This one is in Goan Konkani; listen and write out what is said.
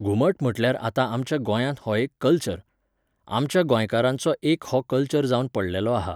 घुमट म्हटल्यार आतां आमच्या गोंयांत हो एक कल्चर. आमच्या गोंयकारांचो एक हो कल्चर जावन पडललो आहा.